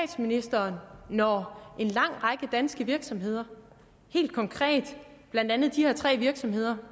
rører når en lang række danske virksomheder helt konkret blandt andet de her tre virksomheder